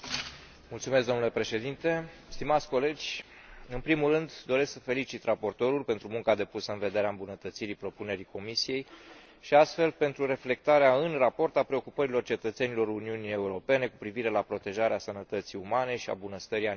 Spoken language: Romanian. În primul rând, doresc să felicit raportorul pentru munca depusă în vederea îmbunătățirii propunerii Comisiei și, astfel, pentru reflectarea în raport a preocupărilor cetățenilor Uniunii Europene cu privire la protejarea sănătății umane și a bunăstării animalelor de companie.